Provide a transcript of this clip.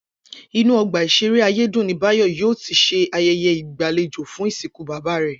Inú ọgbà ìṣeré Ayédùn ni Báyọ̀ yóò ti ṣe ayẹyẹ ìgbàlejò fún ìsìnkú bàbá rẹ̀